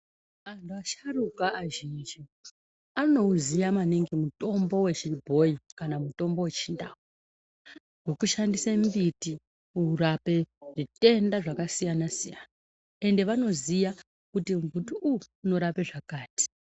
Vantu vasharuka azhinji anouziva maningi mutombo wechi bhoyi kana kuti mutombo wechiNdau wekushandise mbiti unorape zvitenda zvakasiyana siyana ende vanouziya kuti mutombo uwu unorape zvakati.